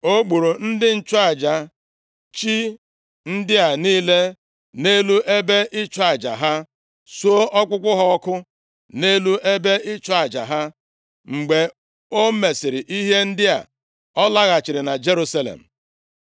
O gburu ndị nchụaja chi ndị a niile nʼelu ebe ịchụ aja ha, suo ọkpụkpụ ha ọkụ nʼelu ebe ịchụ aja ha. Mgbe o mesịrị ihe ndị a, ọ laghachiri na Jerusalem.